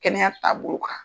Kɛnɛya taabolo kan.